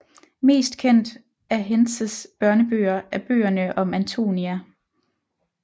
Mest kendt af Hentzes børnebøger er bøgerne om Antonia